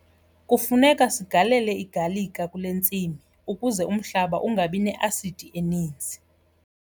Kufuneka sigalele igalika kule ntsimi ukuze umhlaba ungabi ne-asidi eninzi.